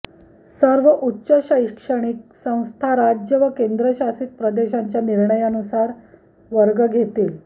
सर्व उच्च शैक्षणिक संस्था राज्य व केंद्रशासित प्रदेशांच्या निर्णयानुसार वर्ग घेतील